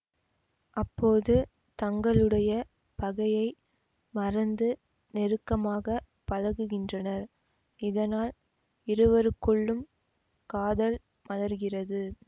அப்போது தங்களுடைய பகையை மறந்து நெருக்கமாக பழகுகின்றனர் இதனால் இருவருக்குள்ளும் காதல் மலர்கிறது